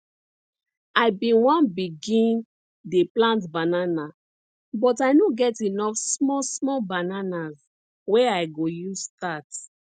i bin one begin dey plant banana but i no get enough small small bananas wey i go use start